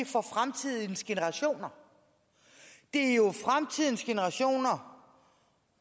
for fremtidens generationer det er jo fremtidens generationer